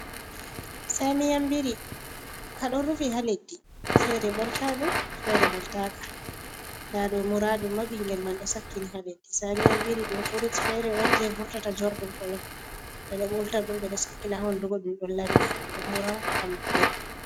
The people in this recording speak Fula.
Samiyan biri ka ɗo rufi ha leddi fere ɓolta ɗum, fere ɓolta ka, nda ɗo mura ɗum ma ɓingel man ɗo sakkini ha leddi, samiyan biri ɗum frut fere on je vurtata jorɗum kolon, ɓeɗo ɓolta ɗum, ɓe ɗo sakkina ha hunduko ɗum lami himɓɓe ɗo mura ham ɓe.